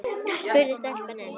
spurði stelpan enn.